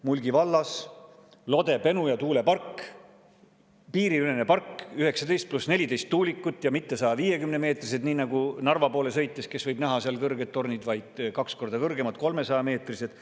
Mulgi vallas Lode-Penuja tuulepark, piiriülene park, kus on 19 + 14 tuulikut, ja mitte 150-meetrised, nii nagu Narva poole sõites, kus võib näha kõrgeid torne, vaid kaks korda kõrgemad, 300‑meetrised.